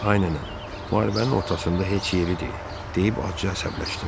Ay nənə, müharibənin ortasında heç yeridir deyib acıca əsəbləşdim.